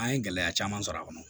An ye gɛlɛya caman sɔrɔ a kɔnɔ